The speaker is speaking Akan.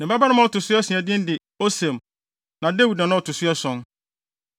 Ne babarima a ɔto so asia no din de Osem na Dawid na na ɔto so ason.